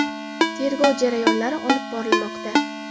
Tergov jarayonlari olib borilmoqda.